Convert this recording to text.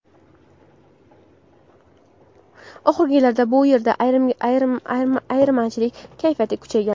Oxirgi yillarda bu yerda ayirmachilik kayfiyati kuchaygan.